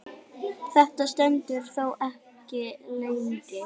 Þetta stendur þó ekki lengi.